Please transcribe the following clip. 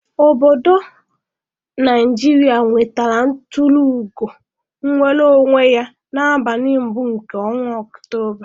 Ọbọdọ Naijiria nwetara tụrụ ugo nnwere onwe ya n'abalị mbụ nke ọnwa Ọktoba.